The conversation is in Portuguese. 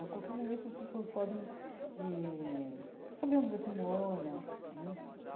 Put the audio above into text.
A qualquer momento, as pessoas podem eh saber onde você mora né.